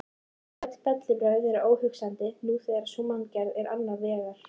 Öll bellibrögð eru óhugsandi þegar sú manngerð er annars vegar.